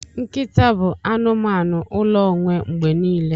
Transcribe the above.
Nkịta ga-abụ anụmanụ ụlọ onwe mgbe niile.